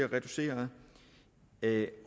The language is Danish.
reduceret